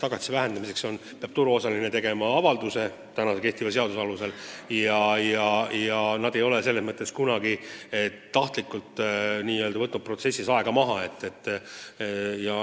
Tagatise vähendamiseks peab turuosaline tegema avalduse – see on nii ka kehtiva seaduse alusel – ja nad ei ole kunagi tahtlikult selles protsessis aega maha võtnud.